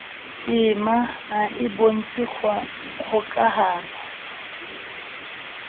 tema ha e bontshe kgokahano